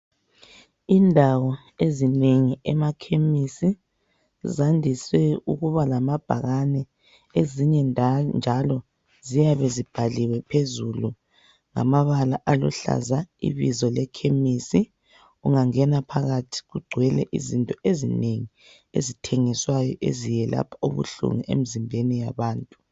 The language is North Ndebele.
Indawo ezinengi emakhemisi zandiswe ukuba lamabhakane. Ezinye njalo ziyabe zibhaliwe phezulu ngamabala aluhlaza ibizo lekhemisi. Ungangena phakathi kugcwele izinto ezinengi eziyelapha ubuhlungu emizimbeni yabantu.